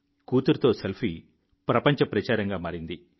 కూతురితో selfie ప్రపంచ ప్రచారంగా మారింది